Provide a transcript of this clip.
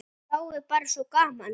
Þá er bara svo gaman.